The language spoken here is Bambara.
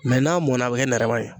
n'a mɔnna, a bɛ kɛ nɛrɛma ye.